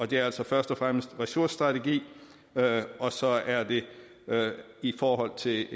det er altså først og fremmest ressourcestrategi og så er det i forhold til